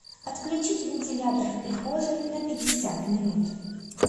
отключить вентилятор в прихожей на пятьдесят минут